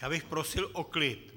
Já bych prosil o klid!